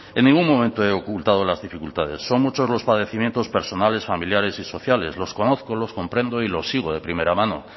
en ningún momento he ocultado las dificultades son muchos los padecimientos personales familiares y sociales los conozco lo comprendo y lo sigo de primera mano